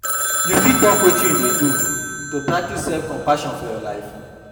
You fit talk wetin you dey do to practice self-compassion for your life?